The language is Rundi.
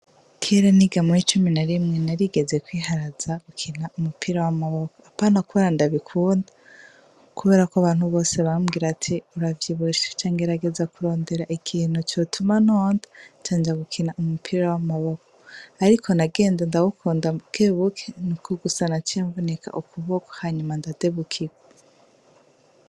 Kera niga muwi'icumi na rimwe, narigeze kwiharaza gukina umupira w'amaboko, apana kubera ndabikunda, kubera ko abantu bose bambwira ati:uravyibushe. Nca ngerageza kurondera ikintu cotuma nonda ncanja gukina umupira w'amaboko. Ariko bagenda ndawukunda buke buke nuko gusa naciye mvunika ukuboko hanyuma ndadebukirwa.